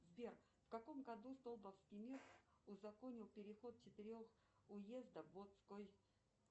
сбер в каком году столбовский мир узаконил переход четырех уездов